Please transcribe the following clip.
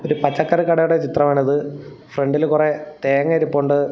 ഒരു പച്ചക്കറി കടയുടെ ചിത്രമാണ് ഇത് ഫ്രണ്ടിൽ കുറെ തേങ്ങ ഇരിപ്പുണ്ട്.